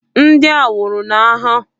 Ndị ahụ nwụrụ n'agha.